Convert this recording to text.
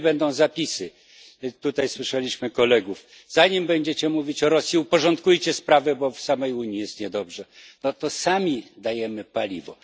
Jeżeli będą zapisy tutaj słyszeliśmy kolegów Zanim będziecie mówić o Rosji, uporządkujcie swoje sprawy, bo w samej Unii jest niedobrze no to sami dajemy paliwo.